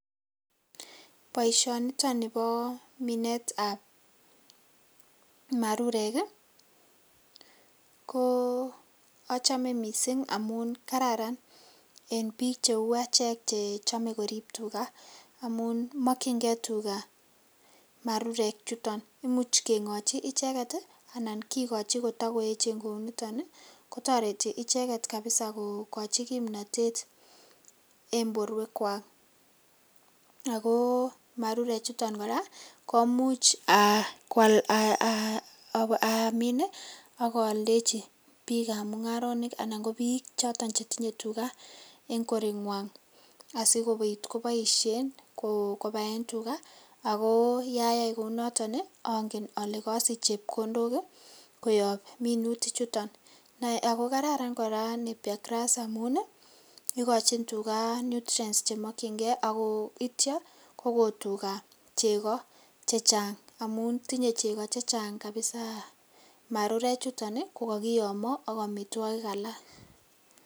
Boishoniton nibo minetab marurek ko achome mising amun kararan en biik cheu echek chechome koriib tukaa amun mokyinge tuka marurek chuton, imuch keng'ochi icheket anan kikochi kotokoechen kouniton kotoreti icheket kabisaa kokochi kimnotet en borwekwak ak ko marure chuton kora ko imuch amin ak aldechi biikab mung'aronik anan ko biik choton chetinye tukaa eng' korenywan asikobit koboishen kobai tukaa ak ko yayai kounoton ong'en olee kosich chepkondok koyob minutichoton ak ko kararan kora napier grass amun ikochin tuka nutrients chemokying'e ak ko ityo Koko yuka cheko chechang amun tinye cheko chechang marure chuton ko kokiyomo ak amitwokik alak.